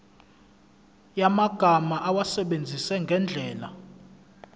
yamagama awasebenzise ngendlela